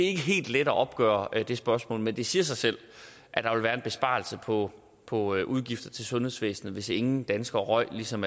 er helt let at opgøre det spørgsmål men det siger sig selv at der vil være en besparelse på på udgifter til sundhedsvæsenet hvis ingen danskere røg ligesom